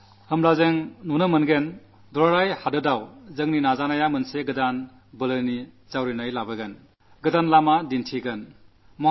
നോക്കൂ രാജ്യമെങ്ങും നമ്മുടെ ശ്രമഫലമായി വീണ്ടും ഈ മുന്നേറ്റത്തിന് ഒരു ആക്കം ലഭിക്കും